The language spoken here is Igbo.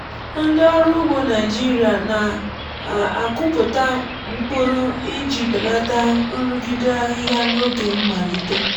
ndị ọrụ ugbo naịjirịa na-akụpụta mkpụrụ iji belata nrụgide ahịhịa n’oge mmalite.